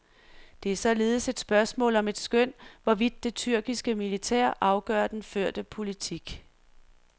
Det er således et spørgsmål om et skøn, hvorvidt det tyrkiske militær afgør den førte politik.